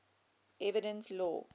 evidence law